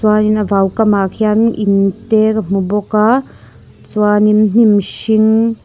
chuanin a vau kam ah khianin in te ka hmu bawk a chuanin hnim hring --